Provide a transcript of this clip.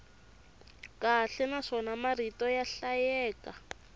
kahle naswona marito ya hlayeka